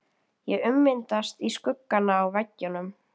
Ég ummyndast í skuggana á veggjunum.